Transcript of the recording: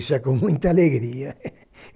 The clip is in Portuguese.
Isso é com muita alegria.